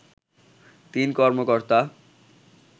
৩ কর্মকর্তা